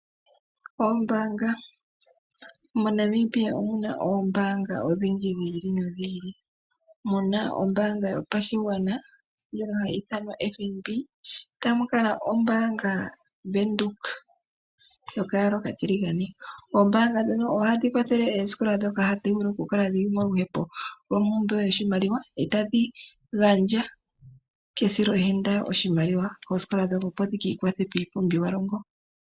Oombaanga . MoNamibia omuna odhindji dhi ili nodhi ili muna ombaanga yotango yopashigwana ndjono hayi ithanwa FNB tamu kala ombaanga yo Bank Windhoek yokayala okatiligane. Oombaanga ndhono ohadhi kwathele oosikola ndhoka hadhi vulu oku kala dhili mompumbwe yoshimaliwa etadhi gandja kesilohenda oshimaliwa koosikola ndhono opo dhi kiikwathe kiipumbiwalongo.